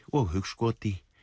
og hugskoti